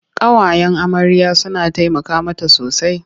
Ƙawayen amarya suna taimaka mata sosai.